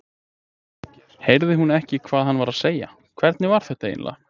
Heyrði hún ekki hvað hann var að segja, hvernig var þetta eiginlega?